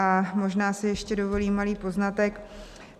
A možná si ještě dovolím malý poznatek.